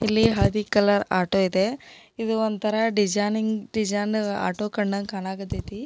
ಇಲ್ಲಿ ಹಳದಿ colour auto ಇದೆ ಇದು ಒಂಥರಾ ಡಿಸೈನಿಂಗ್ ಡೆಸೈನ್ ಆಟೋ ಕಂಡಂಗ್ ಕಣಕ್ ಹತೈತಿ.